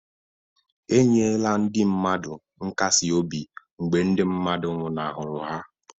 E nyela ndị mmadụ nkasi obi mgbe mmadụ nwụnahụrụ ya.